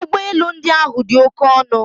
Ụgbọ elu ndị ahụ dị oke ọnụ